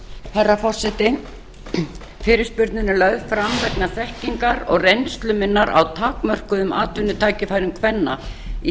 herra forseti fyrirspurnin er lögð fram vegna þekkingar og reynslu minnar af takmörkuðum atvinnutækifærum kvenna í